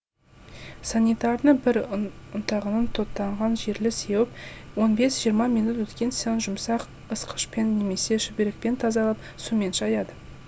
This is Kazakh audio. санитарный бір ұн ұнтағын тотанған жерге сеуіп он бес жиырма минут өткен соң жұмсақ ысқышпен немесе шүберекпен тазалап сумен шаяды